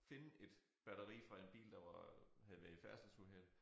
Finde et batteri fra en bil der var havde været i færdselsuheld